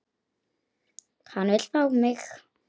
Hann vill fá mig.